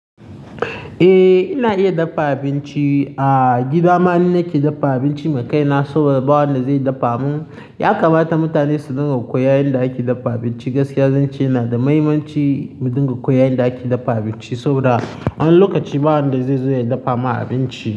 Eh, ina iya daffa abinci. A gida maninne ke daffa abinci maka, ina saboda ba wanda zai daffa mun. Ya kamata mutane su rika koyar da ake daffa abinci gaskiya, zan ce yana da muhimmanci mu rika koyar da ake daffa abinci saboda wani lokaci ba wanda zai zo ya daffa ma abinci.